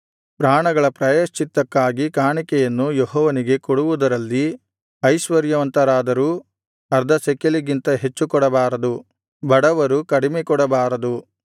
ಪ್ರಾಣಗಳ ಪ್ರಾಯಶ್ಚಿತ್ತಕ್ಕಾಗಿ ಕಾಣಿಕೆಯನ್ನು ಯೆಹೋವನಿಗೆ ಕೊಡುವುದರಲ್ಲಿ ಐಶ್ವರ್ಯವಂತರಾದರೂ ಅರ್ಧಶೆಕೆಲಿಗಿಂತ ಹೆಚ್ಚು ಕೊಡಬಾರದು ಬಡವರು ಕಡಿಮೆ ಕೊಡಬಾರದು